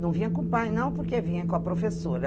Não vinha com o pai, não, porque vinha com a professora.